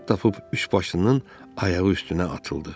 Fürsət tapıb üçbaşlının ayağı üstünə atıldı.